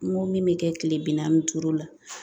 N ko min bɛ kɛ kile bi naani ni duuru la